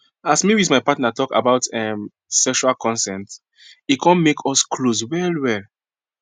as me with my partner talk about um sexual consent e come make us close well well